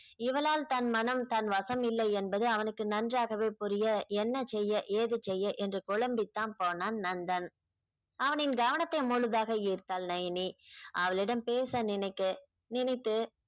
இவளால் தன் மனம் தன் வசம் இல்லை என்பது அவனுக்கு நன்றாகவே புரிய என்ன செய்ய ஏது செய்ய என்று குழம்பி தான் போனான் நந்தன் அவனின் கவனத்தை முழுதாக ஈர்த்தாள் நயனி அவளிடம் பேச நினைக்க நினைத்து